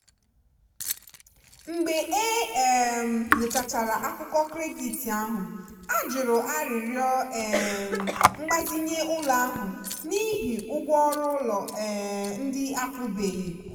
mgbe e um nyochachara akụkọ kredit ahụ a jụrụ arịrịọ um mgbazinye ụlọ ahụ n'ihi ụgwọ ọrụ ụlọ um ndị akwụbeghị.